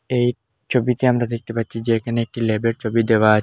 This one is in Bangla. এই ছবিটা আমরা দেখতে পাচ্ছি যে এখানে একটি ল্যাবের ছবি দেওয়া।